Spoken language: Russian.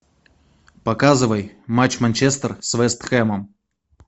показывай матч манчестер с вест хэмом